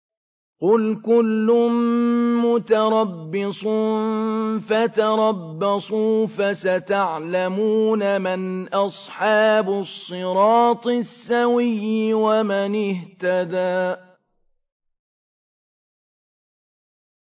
قُلْ كُلٌّ مُّتَرَبِّصٌ فَتَرَبَّصُوا ۖ فَسَتَعْلَمُونَ مَنْ أَصْحَابُ الصِّرَاطِ السَّوِيِّ وَمَنِ اهْتَدَىٰ